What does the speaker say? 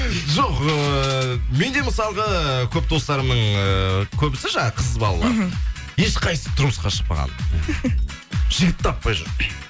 жоқ эээ менде мысалғы көп достарымның эээ көбісі жаңа қыз балалар ешқайсысы тұрмысқа шықпаған жігіт таппай жүр